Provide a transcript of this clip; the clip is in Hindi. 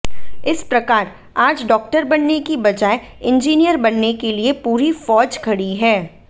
इस प्रकार आज डाक्टर बनने की बजाय इंजीयिर बनने के लिए पूरी फौज खड़ी है